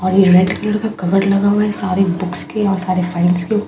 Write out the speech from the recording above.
और ये red colour का कभर्ड लगा हुआ है सारे बुक्स के और सारे फाइल्स के।